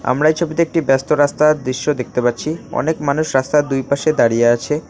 আমরা এই ছবিতে একটি ব্যস্ত রাস্তার দৃশ্য দেখতে পাচ্ছি অনেক মানুষ রাস্তার দুই পাশে দাঁড়িয়ে আছে।